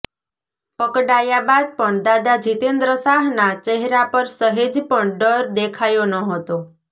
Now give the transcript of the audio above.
પકડાયા બાદ પણ દાદા જિતેન્દ્ર શાહના ચહેરા પર સહેજપણ ડર દેખાયો ન હતો